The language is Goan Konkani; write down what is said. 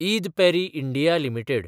Eid Parry (India) limited